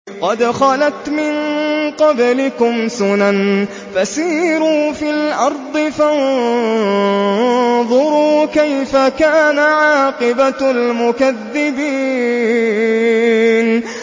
قَدْ خَلَتْ مِن قَبْلِكُمْ سُنَنٌ فَسِيرُوا فِي الْأَرْضِ فَانظُرُوا كَيْفَ كَانَ عَاقِبَةُ الْمُكَذِّبِينَ